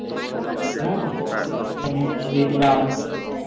মনে আছে নিয়ে দিছিলাম